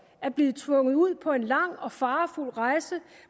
at blive tvunget ud på en lang og farefuld rejse